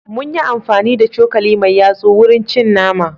Mun yi amfani da cokali mai yatsu wurin cin nama.